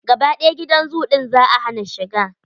Gaba ɗaya gidan zoo ɗin za a hana shiga.